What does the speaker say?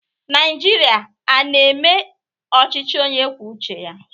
Naịjirịa a na-eme ọchịchị onye kwuo uche ya?